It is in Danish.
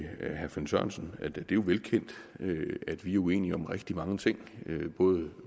herre finn sørensen at det jo er velkendt at vi er uenige om rigtig mange ting både